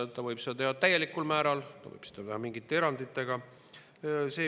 Ta võib seda teha täielikul määral ja võib seda teha mingite eranditega.